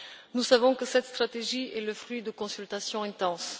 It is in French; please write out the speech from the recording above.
Nous savons que cette stratégie est le fruit de consultations intenses.